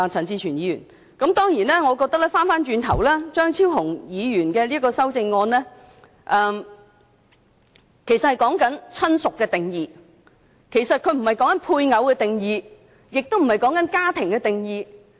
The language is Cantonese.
當然，話說回頭，我覺得張超雄議員的修正案其實只涉及"親屬"的定義，而不是"配偶"或"家庭"的定義。